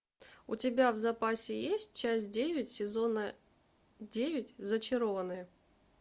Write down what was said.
у тебя в запасе есть часть девять сезона девять зачарованные